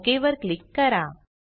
okay वर click करा